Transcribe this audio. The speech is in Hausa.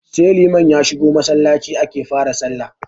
Sai liman ya shigo Masallaci ake fa ra sallah